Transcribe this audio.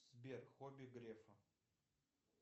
сбер хобби грефа